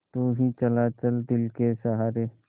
यूँ ही चला चल दिल के सहारे